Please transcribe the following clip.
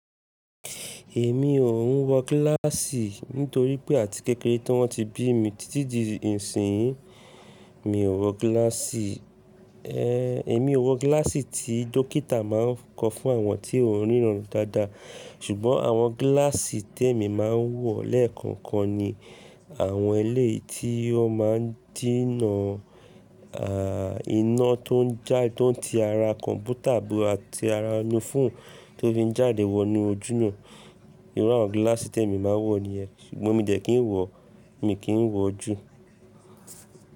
Èmi ò ń wọ gíláàsì nítorí pé àti kékeré tí wọ́n ti bí mi títí di ìsìnyí, mi ò wọ gíláàsì. Ehn, èmi ò wọ gíláàsì tí dókítà má ń kọ fún àwọn tí ò n ríran dáadáa. Ṣùgbọ́n àwọn gíláàsì tí èmi má ń wọ́ lẹ́ẹ̀kọ̀ọ̀kan ni àwọn ẹlẹ́yii tí wọn má ń díná ààh iná tó ń já, tó ń ti ara kọ̀mpútà àti ara fọ́ọ̀nù tó fi ń jáde wọ inú ojú náà. Irú àwọn gíláàsì tí èmi má ń wọ̀ ni ẹ. Ṣùgbọ́n mi dẹ̀ kí n wọ̀, mi kì í n wọ̀ jú.